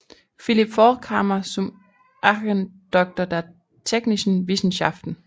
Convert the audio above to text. Philipp Forchheimer zum Ehrendoktor der technischen Wissenschaften